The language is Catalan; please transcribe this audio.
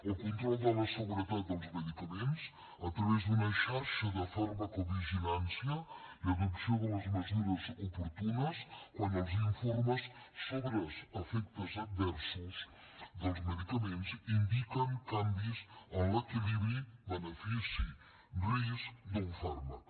el control de la seguretat dels medicaments a través d’una xarxa de farmacovigilància i adopció de les mesures oportunes quan els informes sobre efectes adversos dels medicaments indiquen canvis en l’equilibri benefici risc d’un fàrmac